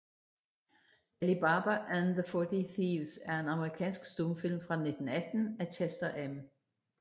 Ali Baba and the Forty Thieves er en amerikansk stumfilm fra 1918 af Chester M